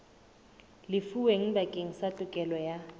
lefuweng bakeng sa tokelo ya